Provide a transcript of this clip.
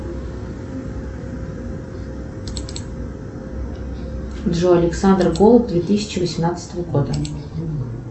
джой александр голуб две тысячи восемнадцатого года